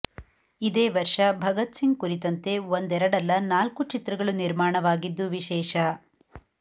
ಇದೇ ವರ್ಷ ಭಗತ್ ಸಿಂಗ್ ಕುರಿತಂತೆ ಒಂದೆರಡಲ್ಲ ನಾಲ್ಕು ಚಿತ್ರಗಳು ನಿರ್ಮಾಣವಾಗಿದ್ದು ವಿಶೇಷ